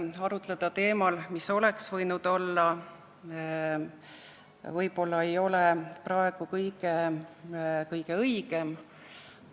Arutleda teemal, mis oleks võinud olla, ei ole praegu võib-olla kõige õigem.